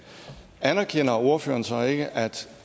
anerkender ordføreren så ikke at